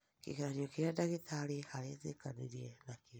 kĩgeranĩo kĩrĩa dagĩtarĩ aretĩkĩranĩa nakĩo